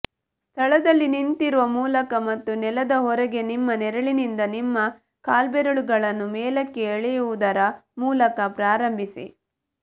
ಸ್ಥಳದಲ್ಲಿ ನಿಂತಿರುವ ಮೂಲಕ ಮತ್ತು ನೆಲದ ಹೊರಗೆ ನಿಮ್ಮ ನೆರಳಿನಿಂದ ನಿಮ್ಮ ಕಾಲ್ಬೆರಳುಗಳನ್ನು ಮೇಲಕ್ಕೆ ಎಳೆಯುವುದರ ಮೂಲಕ ಪ್ರಾರಂಭಿಸಿ